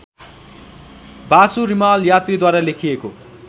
वासु रिमाल यात्रीद्वारा लेखिएको